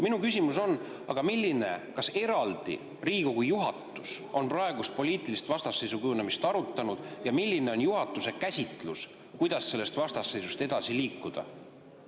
Minu küsimus on: kas Riigikogu juhatus on praeguse poliitilise vastasseisu kujunemist eraldi arutanud ja milline on juhatuse käsitlus, kuidas sellest vastasseisust edasi liikuda?